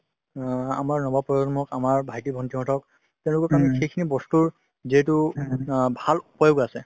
অ আমাৰ নব প্ৰজন্মক আমাৰ ভাইটি ভন্টি হতক তেওঁলোকক আমি সেইখিনি বস্তুৰ যিহেতু অ ভাল প্ৰয়োগ আছে ।